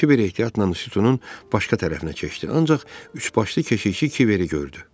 Kiber ehtiyatla sütunun başqa tərəfinə keçdi, ancaq üçbaşlı keşikçi Kiberi gördü.